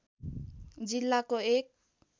जिल्लाको एक